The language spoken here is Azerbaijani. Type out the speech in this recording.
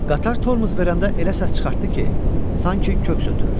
Qatar tormuz verəndə elə səs çıxartdı ki, sanki köks ötürür.